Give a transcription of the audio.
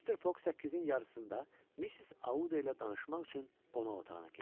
Mister Fog səkkizin yarısında Missis Audda ilə danışmaq üçün qonaq otağına keçdi.